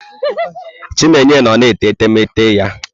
Chinenye nnọ na-ete etemeete ya.